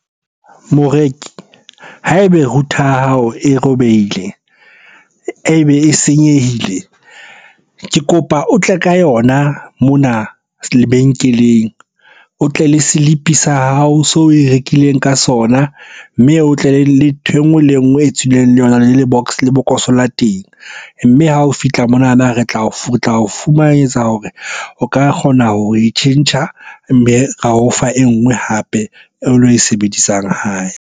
Moreki, ha ebe router ya hao e robehile, e be e senyehile. Ke kopa o tle ka yona mona lebenkeleng. O tle le slip-e sa hao se oe rekileng ka sona, mme o tle le nthwe nngwe le engwe e tswileng le yona le lebokoso la teng. Mme ha o fihla monana re tla o tla fumanetsa hore o ka kgona ho e tjhentjha, mme ra o fa e nngwe hape eo lo e sebedisang hae.